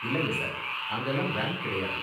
இல்லங்க சார், அங்கலாம் ரேம்ப் கிடையாது